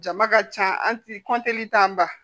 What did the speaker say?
Jama ka ca an ti an ba